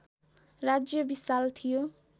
राज्य विशाल थियो